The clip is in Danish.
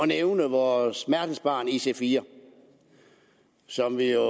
nævne vores smertensbarn ic4 som vi jo